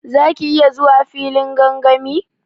Za ki iya zuwa filin gangami?